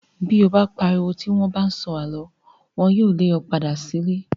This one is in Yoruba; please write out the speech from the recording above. Bí o bá pariwo tí wọ́n bá ń sọ àlọ́. Wọn yóò le ọ padà sílé.